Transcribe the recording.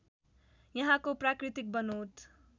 यहाँको प्राकृतिक बनोट